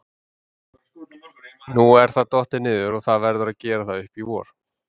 Nú er það dottið niður og það verður að gera það upp í vor.